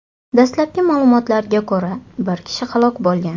Dastlabki ma’lumotlarga ko‘ra, bir kishi halok bo‘lgan.